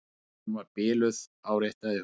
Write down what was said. Hún var biluð, áréttaði hún.